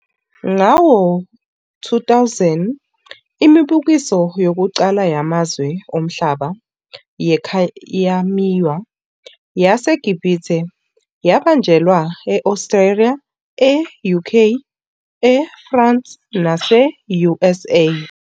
Ngawo-2000, imibukiso yokuqala yamazwe omhlaba yekhayamiya yaseGibhithe yabanjelwa e-Australia, e-UK, eFrance nase-USA.